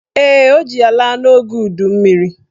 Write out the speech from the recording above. Ee, ọ ji ya laa n'oge udummiri